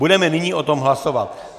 Budeme nyní o tom hlasovat.